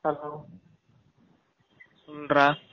hello , சொல்ட்ரா